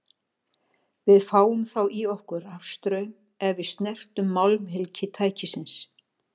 Við fáum þá í okkur rafstraum ef við snertum málmhylki tækisins.